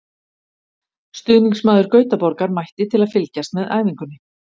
Stuðningsmaður Gautaborgar mætti til að fylgjast með æfingunni.